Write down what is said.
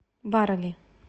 барели